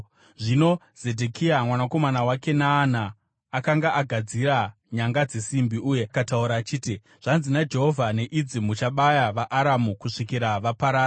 Zvino Zedhekia mwanakomana waKenaana akanga agadzira nyanga dzesimbi, uye akataura achiti, “Zvanzi naJehovha: ‘Neidzi muchabaya vaAramu kusvikira vaparara.’ ”